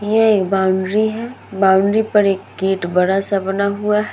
ये एक बाउंड्री है। बॉउंड्री पर एक गेट बड़ा-सा बना हुआ है।